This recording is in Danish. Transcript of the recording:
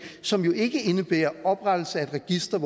som ikke indebærer oprettelsen af et register